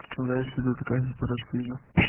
что такое гиперактивный